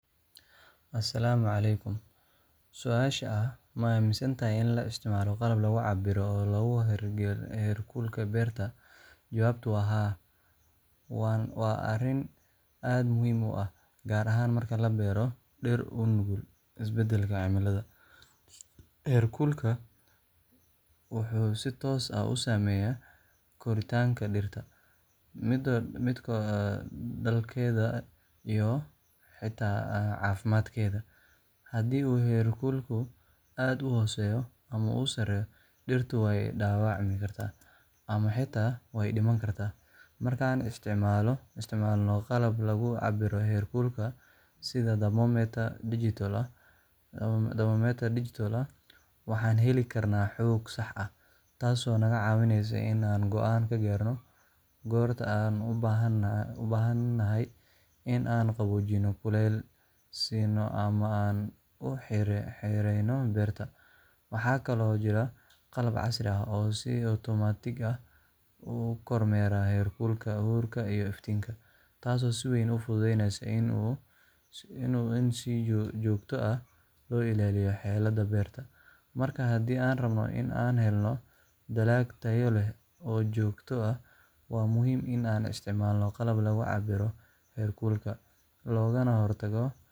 Asalaamu calaykum. Su’aasha ah: ma aaminsanahay in la isticmaalo qalab lagu cabbiro oo lagu hago heerkulka beerta? Jawaabtu waa haa, waana arrin aad muhiim u ah gaar ahaan marka la beero dhir u nugul isbeddelka cimillada. Heerkulka wuxuu si toos ah u saameeyaa koritaanka dhirta, midho-dhalkeeda, iyo xitaa caafimaadkeeda. Haddii uu heerkulku aad u hooseeyo ama u sarreeyo, dhirtu way dhaawacmi kartaa ama xitaa way dhiman kartaa. Marka aan isticmaalno qalab lagu cabbiro heerkulka, sida thermometer digital ah, waxaan heli karnaa xog sax ah, taasoo naga caawinaysa in aan go’aan ka gaarno goorta aan u baahan nahay in aan qaboojino, kuleyl siino, ama aan u xireyno beerta. Waxaa kaloo jira qalab casri ah oo si otomaatig ah u kormeera heerkulka, huurka, iyo iftiinka — taasoo si weyn u fududeysa in si joogto ah loo ilaaliyo xaaladda beerta. Marka, haddii aan rabno in aan helno dalag tayo leh oo joogto ah, waa muhiim in aan isticmaalno qalab lagu cabbiro heerkulka, loogana hortago